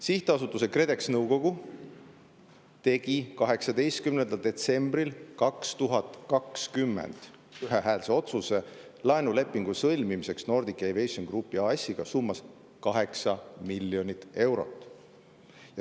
Sihtasutuse KredEx nõukogu tegi 18. detsembril 2020 ühehäälse otsuse laenulepingu sõlmimiseks Nordic Aviation Group AS-iga summas 8 miljonit eurot.